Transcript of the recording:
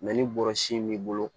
ni bɔrɔsi in b'i bolo